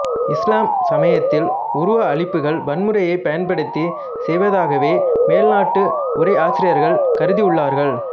இசுலாம் சமயத்தில் உருவ அழிப்புகள் வன்முறையைப் பயன் படுத்தி செய்வதாகவே மேலைநாட்டு உரை ஆசிரியர்கள் கருதியுள்ளார்கள்